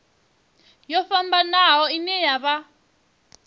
yo fhambanaho ine ya vha